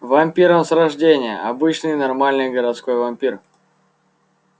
вампир он с рождения обычный нормальный городской вампир